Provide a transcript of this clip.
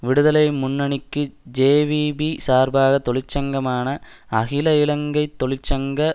விடுதலை முன்னணிக்கு ஜேவிபி சார்பாக தொழிற்சங்கமான அகில இலங்கை தொழிற்சங்க